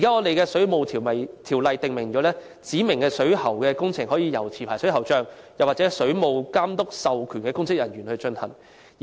現行《水務設施條例》訂明，指明水管工程可由持牌水喉匠或水務監督授權的公職人員進行。